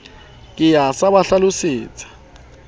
ke ya sa ba hlalosetseng